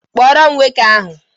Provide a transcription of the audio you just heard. Kpọrọ m nwoke ahụ!